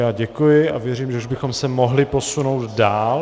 Já děkuji a věřím, že už bychom se mohli posunout dál.